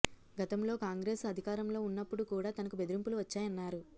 గతంలో కాంగ్రెస్ అధికారంలో ఉన్నప్పుడు కూడా తనకు బెదిరింపులు వచ్చాయన్నారు